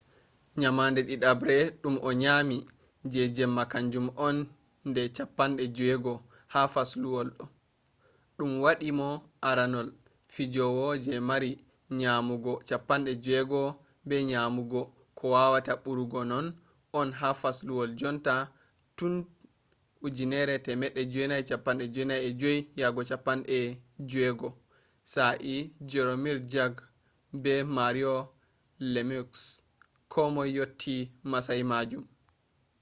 nyamande didabre dum o nyami je jemma kanjum on je nde 60 ha fasluwol ɗo ɗum waɗi mo aranol fijowo je mari nyamugo 60 be nyamande ko wawata ɓurugo non on ha fasluwol jonta tun 1995-96 sa'e jaromir jagr be mario lemieux ko moy yotti masayi majum